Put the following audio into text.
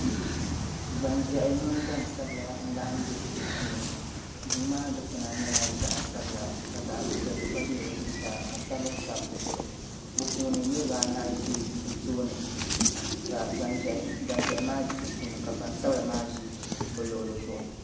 Gbanʒɛhi mini gbansabila n-laɣim be duu puuni duu maa dukpuna nyɛla zaɣ'sabila ka zaɣ'piɛlli gba be di zuɣusaa ka sabbu sabi di zuɣu bɛ puuni niriba anahi ʒi bɛ tooni ka gbanʒɛhi maa ʒi sunsuuni ka gbansabila maa ʒi bɛ luɣili zuɣu.